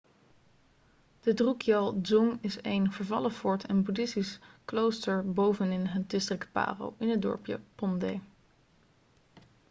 de drukgyal dzong is een vervallen fort en boeddhistisch klooster bovenin het district paro in het dorpje phondey